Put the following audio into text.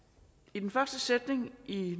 i den første sætning i